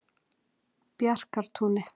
Bjarkartúni